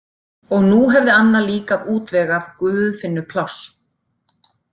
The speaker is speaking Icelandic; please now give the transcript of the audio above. Og nú hefði Anna líka útvegað Guðfinnu pláss.